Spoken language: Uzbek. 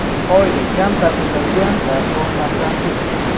Oila kam ta’minlangan va ko‘p farzandli.